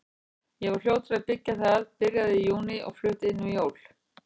Ég var fljótur að byggja það, byrjaði í júní og flutti inn fyrir jól.